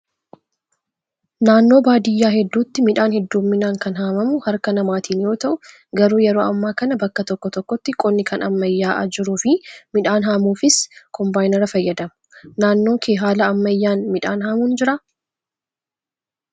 Naannoo baadiyyaa hedduutti midhaan hedduminaan kan haamamu harka namaatiin yoo ta'u, garuu yeroo ammaa kana bakka tokko tokkotti qonni kan ammayyaa'aa jiruu fi midhaan haamuufis kombaayinara fayyadamu. Naannoo kee haala ammayyaan midhaan haamuun jiraa?